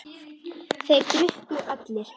Þeir drukku allir.